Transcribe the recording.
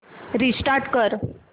restart कर